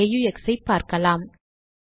aux ஐ பார்க்கலாம்